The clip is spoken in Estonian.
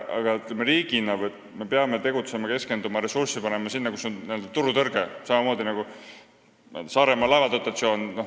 Aga ütleme nii, et riigina me peame tegutsema seal, keskenduma sellele ja ressursse panema sinna, kus on n-ö turutõrge, samamoodi nagu on Saaremaa laevade dotatsiooniga.